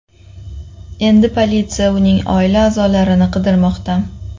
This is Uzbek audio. Endi politsiya uning oila a’zolarini qidirmoqda.